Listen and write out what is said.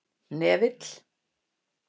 Hnefill